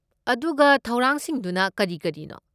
ꯑꯗꯨꯒ ꯊꯧꯔꯥꯡꯁꯤꯡꯗꯨꯅ ꯀꯔꯤ ꯀꯔꯤꯅꯣ?